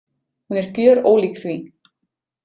Hún er gjörólík því.